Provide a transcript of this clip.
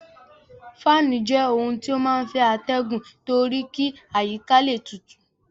Fáànù jẹ́ ohun tí ó máa ń fẹ́ atẹgun torí kí àyíká le tutù.